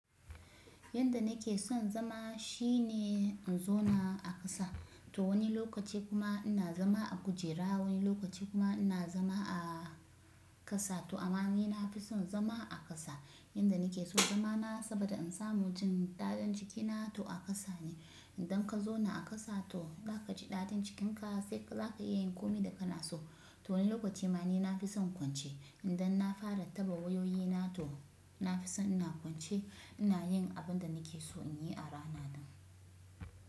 Yanda nake son zama shine in zauna a ƙasa. To wani lokaci kuma ina zama a kujera wani lokaci kuma ina zama a ƙasa. To amma ni nafi son zama a ƙasa. Yanda nake so zama na saboda in samu jin daɗin cikina to a ƙasa ne. Idan ka zauna a ƙasa to zaka ji daɗin cikinka sai ka, zaka iya yin komi da kana so. To wani lokaci ma ni nafi son kwance. Idan na fara taɓa wayoyi na to nafi son ina kwance ina yin abin da nake so in yi a rana din.